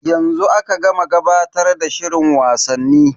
Yanzu aka gama gabatar da shirin wasanni.